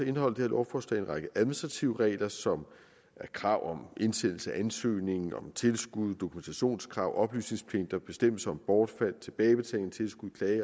indeholder det her lovforslag en række administrative regler som krav indsendelse af ansøgning om tilskud dokumentationskrav oplysningspligt bestemmelser om bortfald klage tilbagebetaling tilskud